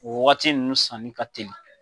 O wagati nun sanni ka teli.